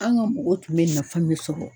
An ga mɔgɔw tun be nafa min sɔrɔ